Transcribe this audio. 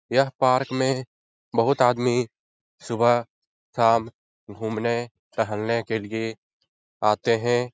यह पार्क में बहोत आदमी सुबह शाम घूमने टहलने के लिए आतें हैं।